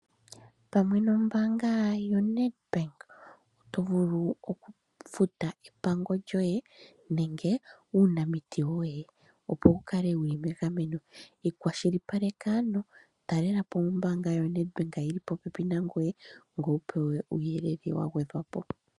Pamwe nombaanga yo Nedbank oto vulu okufuta epango lyoye nenge uunamiti woye opo wukale wuli megameno. Iikwashilipaleka ano talela po ombaanga yo Nedbank yili po pepi nangoye, ngoye wu pewe uuyelele wa gwedhwa po.